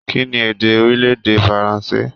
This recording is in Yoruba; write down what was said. Kínní èdè orilẹ-èdè Faransé?